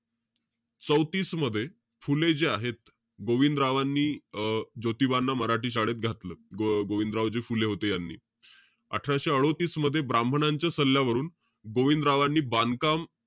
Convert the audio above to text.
चौतीस मध्ये, फुले जे आहेत, गोविंदरावांनी अं ज्योतीबांना मराठी शाळेत घातलं. गो~ गोविंदरावजी फुले होते यांनी. अठराशे अडोतीस मध्ये ब्राह्मणांच्या सल्ल्यावरून, गोविंदरावांनी बांधकाम,